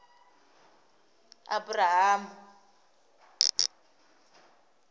aburahamu